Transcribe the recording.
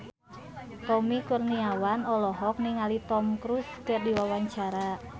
Tommy Kurniawan olohok ningali Tom Cruise keur diwawancara